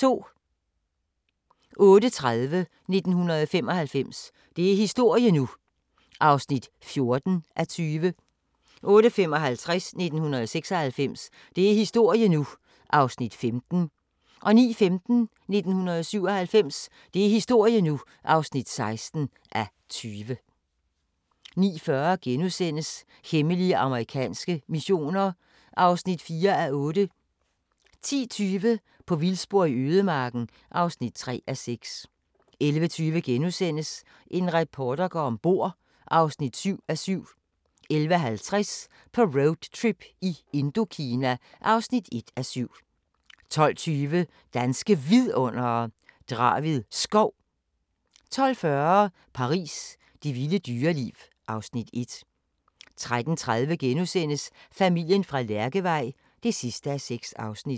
08:30: 1995 – det er historie nu! (14:20) 08:55: 1996 – det er historie nu! (15:20) 09:15: 1997 – det er historie nu! (16:20) 09:40: Hemmelige amerikanske missioner (4:8)* 10:20: På vildspor i ødemarken (3:6) 11:20: En reporter går om bord (7:7)* 11:50: På roadtrip i Indokina (1:7) 12:20: Danske Vidundere: Draved Skov 12:40: Paris – det vilde dyreliv (Afs. 1) 13:30: Familien fra Lærkevej (6:6)*